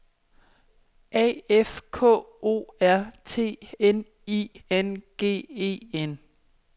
A F K O R T N I N G E N